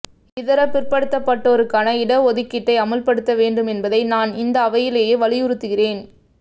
இதர பிற்படுத்தப்பட்டோருக்கான இட ஒதுக்கீட்டை அமல்படுத்த வேண்டும் என்பதை நான் இந்த அவையிலே வலியுறுத்துகிறேன்